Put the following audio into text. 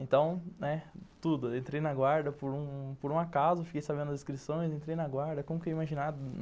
Então, né, tudo, eu entrei na guarda por um acaso, fiquei sabendo as inscrições, entrei na guarda, como que eu ia imaginar?